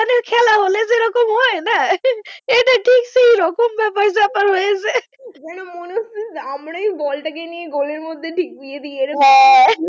যেন মনে হচ্ছে যে আমরাই বলটা কে নিয়ে গোলের মধ্যে ঠিক দিয়ে দিই এরম হ্যাঁ।